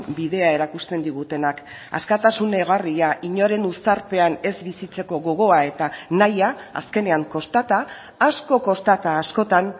bidea erakusten digutenak askatasun egarria inoren uztarpean ez bizitzeko gogoa eta nahia azkenean kostata asko kostata askotan